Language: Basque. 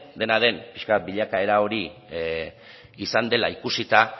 dena den pixka bat bilakaera hori izan dela ikusita